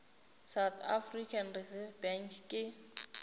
south african reserve bank ke